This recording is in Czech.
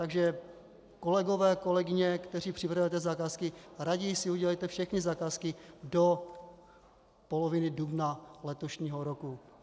Takže kolegové, kolegyně, kteří připravujete zakázky, raději si udělejte všechny zakázky do poloviny dubna letošního roku.